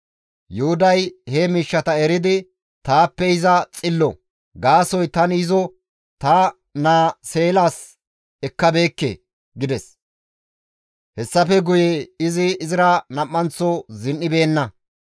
Yuhuday he miishshata eridi, «Taappe iza xillo; gaasoykka tani izo ta naa Seelas ekkabeekke» gides. Hessafe guye izi izira nam7anththo zin7ibeenna.